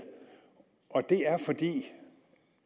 og det er fordi